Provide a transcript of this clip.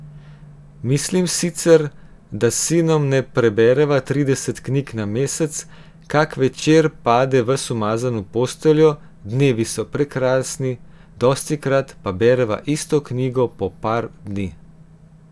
Mislim sicer, da s sinom ne prebereva trideset knjig na mesec, kak večer pade ves umazan v posteljo, dnevi so prekrasni, dostikrat pa bereva isto knjigo po par dni.